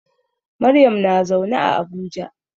Maryam na zaune a Abuja.